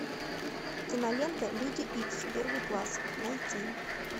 кинолента люди икс первый класс найти